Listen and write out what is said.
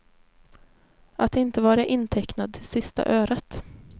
Att inte vara intecknad till sista öret.